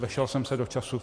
Vešel jsem se do času?